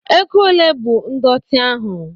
Ego ole bụ ndọtị ahụ?